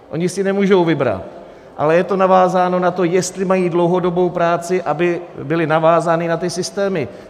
Oni si nemůžou vybrat, ale je to navázáno na to, jestli mají dlouhodobou práci, aby byli navázáni na ty systémy.